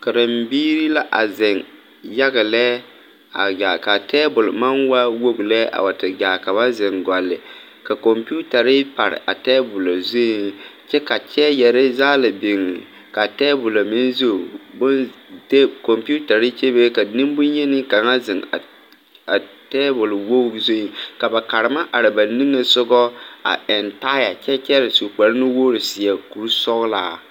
Karenbiiri la a zeŋ yaga lɛ a gaa ka tabol maŋ waa wogi lɛ a wa te gaa ka ba zeŋ gɔle ka kɔmpetare pare a tabolɔ zuŋ kyɛ ka kyɛɛyɛre yaga biŋ ka tabolɔ meŋ zu bon kɔmpetare bebe ka nenbonyeni kaŋa zeŋ a a tabolwogri zuŋ ka ba karema are ba niŋesogɔ a eŋ taayɛ kyɛ kyɛre su kparenuwogri seɛ kurisɔglaa.